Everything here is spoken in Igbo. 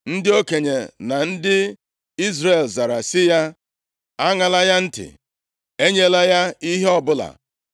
Ndị okenye na ndị Izrel zara sị ya, “Aṅala ya ntị! Enyela ya ihe ọbụla.”